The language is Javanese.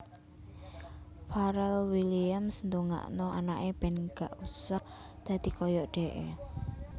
Pharrel Williams ndongakno anake ben gak usah dadi koyok dekke